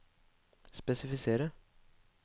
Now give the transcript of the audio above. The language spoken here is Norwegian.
spesifisere